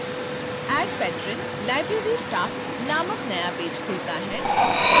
add patron library staff नामक नया page खुलता है